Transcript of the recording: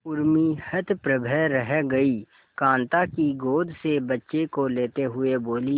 उर्मी हतप्रभ रह गई कांता की गोद से बच्चे को लेते हुए बोली